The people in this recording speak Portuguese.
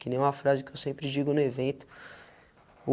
Que nem uma frase que eu sempre digo no evento.